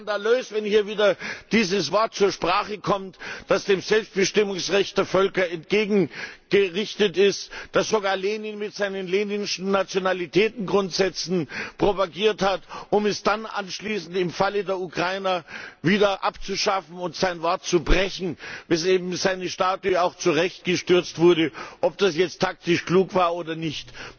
Es ist skandalös, wenn hier wieder dieses Wort zur Sprache kommt, das dem Selbstbestimmungsrecht der Völker entgegen gerichtet ist, das sogar Lenin mit seinen leninschen Nationalitätengrundsätzen propagiert hat, um es dann anschließend im Falle der Ukrainer wieder abzuschaffen und sein Wort zu brechen, weswegen auch seine Statue zu Recht gestürzt wurde, ob das jetzt taktisch klug war oder nicht.